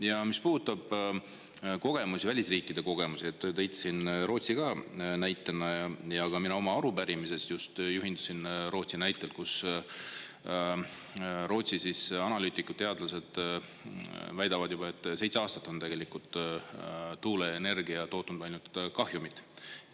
Ja mis puudutab kogemusi, välisriikide kogemusi, tõite siin Rootsi ka näitena ja ka mina oma arupärimises just juhindusin Rootsi näitest, kus Rootsi analüütikud, teadlased väidavad juba, et seitse aastat on tegelikult tuuleenergia tootnud ainult kahjumit.